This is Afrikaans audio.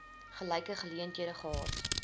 gelyke geleenthede gehad